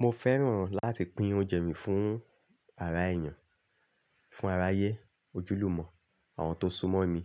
Mo fẹ́ràn láti pín oúnjẹ mi fún ara èèyàn, fún aráyé, ojúlùmọ̀, àwọn tó súnmọ́ mi